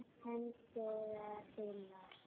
Hendur þínar.